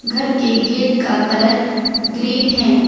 घर के गेट का कलर ग्रीन है।